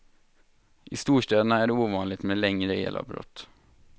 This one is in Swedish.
I storstäderna är det ovanligt med längre elavbrott.